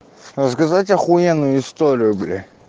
рассказать ахуенную историю бля